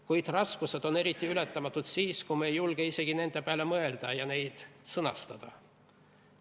Kuid raskused on eriti ületamatud siis, kui me ei julge isegi nende peale mõelda ja neid sõnastada.